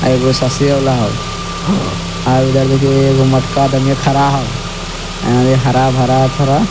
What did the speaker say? अ एगो ससयै वाला हो आर उधर देखिं एगो मोटका आदमियां खड़ा हो अं हरा-भरा थोड़ा --